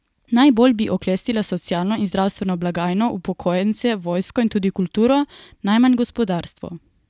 Najbolj bi oklestila socialno in zdravstveno blagajno, upokojence, vojsko in tudi kulturo, najmanj gospodarstvo.